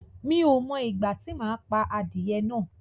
Mi ò mọ ìgbà tí mo máa pa adìyẹ náà